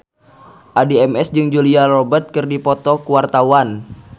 Addie MS jeung Julia Robert keur dipoto ku wartawan